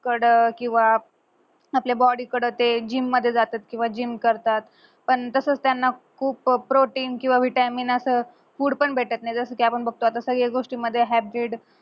कड किंवा आपल्या body कड ते gym जातात किंवा gym करतात पण तसच त्यांना खूप protein vitamin असा food पण भेटत नाय जस कि आपण बघतो आता सगळ्या गोष्टी मध्ये haybrid